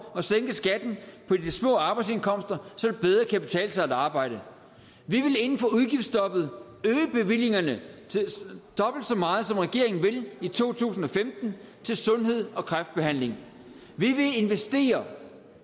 og sænke skatten på de små arbejdsindkomster så det bedre kan betale sig at arbejde vi vil inden for udgiftsstoppet øge bevillingerne dobbelt så meget som regeringen vil i to tusind og femten til sundhed og kræftbehandling vi vil investere